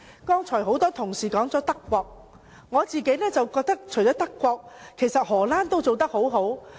剛才很多同事提及德國，我覺得除了德國外，荷蘭也做得很好。